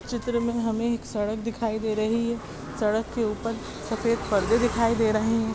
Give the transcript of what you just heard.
चित्र में हमें एक सड़क दिखाई दे रही है सड़क के ऊपर सफ़ेद परदे दिखाय दे रहे है।